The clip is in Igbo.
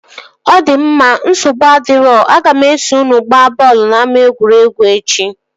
Ọ di mma, nsogbu adirọ, aga m eso unu gbaa bọọlụ n'ama egwuregwu echi